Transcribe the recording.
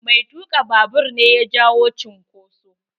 Mai tuka babur ne ya jawo cunkoso.